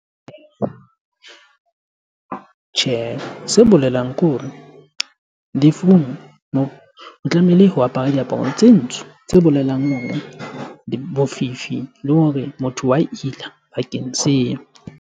Tjhehe, se bolelang kore lefung o tlamehile ho apare diaparo tse ntsho tse bolelang hore bofifi le hore motho wa ila bakeng seo.